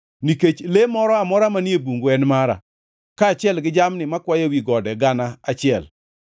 nikech le moro amora manie bungu en mara, kaachiel gi jamni makwayo ewi gode gana achiel.